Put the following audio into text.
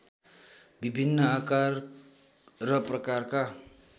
विभिन्न आकार र प्रकारका